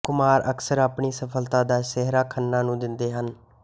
ਕੁਮਾਰ ਅਕਸਰ ਆਪਣੀ ਸਫਲਤਾ ਦਾ ਸਿਹਰਾ ਖੰਨਾ ਨੂੰ ਦਿੰਦੇ ਹਨ